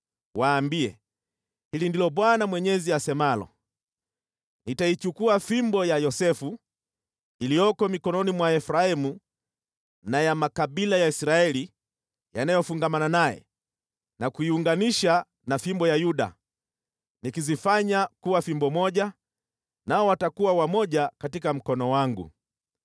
Waambie, ‘Hili ndilo Bwana Mwenyezi asemalo: Nitaichukua fimbo ya Yosefu, iliyoko mikononi mwa Efraimu na ya makabila ya Israeli yanayofungamana naye na kuiunganisha na fimbo ya Yuda, nikizifanya kuwa fimbo moja, nao watakuwa wamoja katika mkono wangu.’